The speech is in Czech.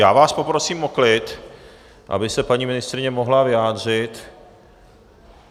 Já vás poprosím o klid, aby se paní ministryně mohla vyjádřit.